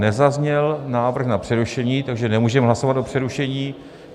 Nezazněl návrh na přerušení, takže nemůžeme hlasovat o přerušení.